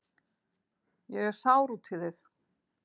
Ég er sár út í þig.